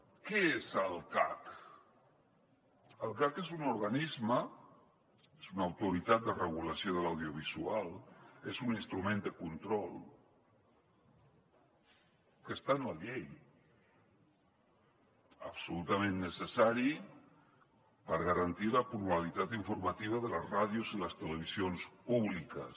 què és el cac el cac és un organisme és una autoritat de regulació de l’audiovisual és un instrument de control que està en la llei absolutament necessari per garantir la pluralitat informativa de les ràdios i les televisions públiques